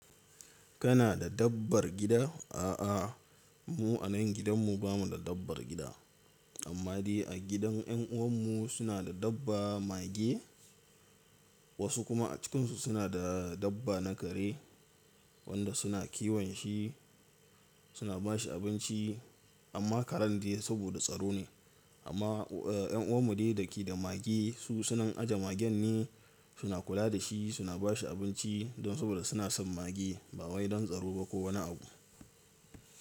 Kana da dabbar gida? A'a, mu a nan gidan mu ba mu da dabbar gida, amma dai a gidan yan uwan mu suna da dabba mage, wasu kuma a cikinsu suna da dabba na kare wanda suna kiwon shi, suna ba shi abinci amma karen dai saboda tsaro ne. Amma yan uwan mu dai da ke da mage su suna aje magen ne, suna kula da shi, suna ba shi abinci don saboda suna son mage ba wai don tsaro ba ko wani abu.